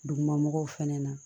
Duguma mɔgɔw fana na